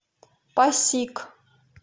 пасиг